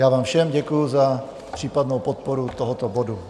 Já vám všem děkuji za případnou podporu tohoto bodu.